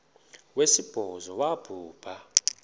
wesibhozo wabhu bha